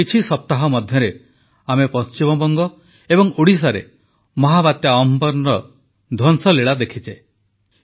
ଗତ କିଛି ସପ୍ତାହ ମଧ୍ୟରେ ଆମେ ପଶ୍ଚିମବଙ୍ଗ ଏବଂ ଓଡ଼ିଶାରେ ମହାବାତ୍ୟା ଅମ୍ଫନ ଧ୍ୱଂସଲୀଳା ଦେଖିଛେ